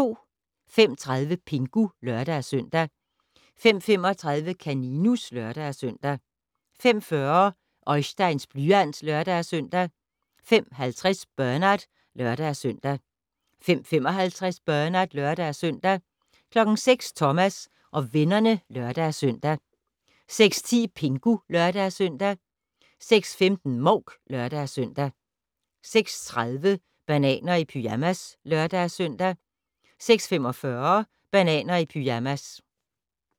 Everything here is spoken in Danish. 05:30: Pingu (lør-søn) 05:35: Kaninus (lør-søn) 05:40: Oisteins blyant (lør-søn) 05:50: Bernard (lør-søn) 05:55: Bernard (lør-søn) 06:00: Thomas og vennerne (lør-søn) 06:10: Pingu (lør-søn) 06:15: Mouk (lør-søn) 06:30: Bananer i pyjamas (lør-søn) 06:45: Bananer i pyjamas